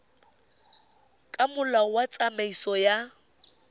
ka molao wa tsamaiso ya